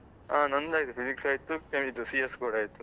ಹಾ ನಂದು ಆಗಿದೆ, Physics ಸ ಇತ್ತು CS ಕೂಡ ಆಯ್ತು.